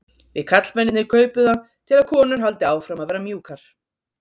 Við karlmennirnir kaupum það til að konur haldi áfram að vera mjúkar.